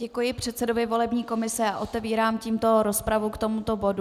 Děkuji předsedovi volební komise a otevírám tímto rozpravu k tomuto bodu.